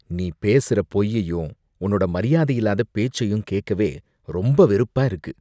நீ பேசுற பொய்யையும், உன்னோட மரியாதையில்லாத பேச்சையும் கேக்கவே ரொம்ப வெறுப்பா இருக்கு.